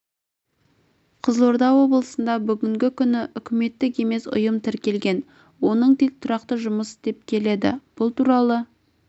қызылорда облысында бүгінгі күні үкіметтік емес ұйым тіркелген оның тек тұрақты жұмыс істеп келеді бұл туралы